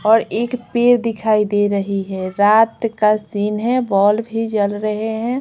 और एक पेड़ दिखाई दे रही है रात का सीन है बॉलब भी जल रहे हैं।